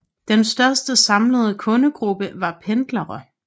Den største samlede kundegruppe var pendlere